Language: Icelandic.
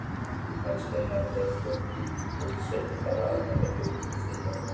Kannski hafði frú Pettersson bara aldrei flust frá Svíþjóð.